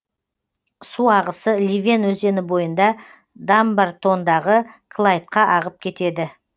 су ағысы ливен өзені бойында дамбартондағы клайдқа ағып кетеді